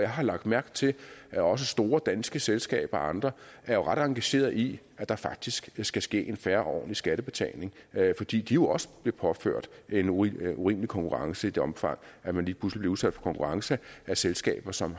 har lagt mærke til at også store danske selskaber og andre er ret engagerede i at der faktisk skal ske en fair og ordentlig skattebetaling fordi de også bliver påført en urimelig urimelig konkurrence i det omfang man lige pludselig bliver udsat for konkurrence af selskaber som